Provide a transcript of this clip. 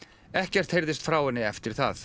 ekkert heyrðist frá henni eftir það